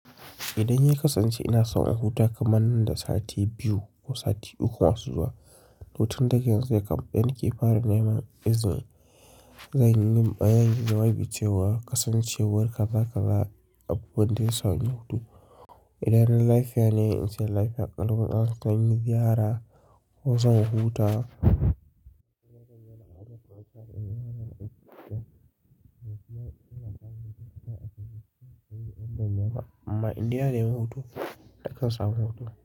Idan ya kasance ina son in huta kamar nan da sati biyu ko sati uku masu zuwa, to tin daga yanzu nake fara nake fara neman izini. Zanyi bayanin zai yi wucewa, kasancewar kaza-kaza abu wanda ina son in huta. Idan na laifiya ne, in ce laifiya, alkawarin zan yi ziyara ko zan huta. Amma in dai na yi hutu, na kusa hutu.